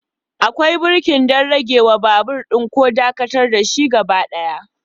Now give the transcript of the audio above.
Akwai birki don ragewa babur ɗin ko dakatar da shi gaba ɗaya.